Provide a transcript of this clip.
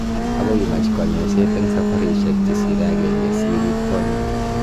Agoi imach kanyaiseet eng safarishek chesire agenge si irip konyeek